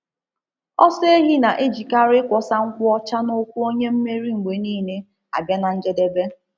Ọsọ ehi na-ejikarị ịkwọsa nkwụ ọcha n'ụkwụ onye mmeri mgbe niile abịa na njedebe